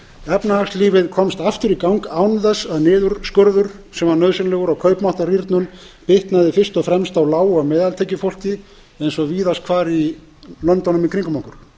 efnahagslífið komst aftur í gang án þess að niðurskurður sem var nauðsynlegur og kaupmáttarrýrnun bitnaði fyrst og fremst á lág og meðaltekjufólki eins og víðast hvar í löndunum í kringum okkur